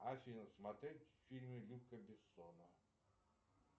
афина смотреть фильмы люка бессона